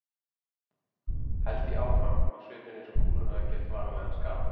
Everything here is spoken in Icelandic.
held ég áfram, á svipinn eins og kúlan hafi gert varanlegan skaða.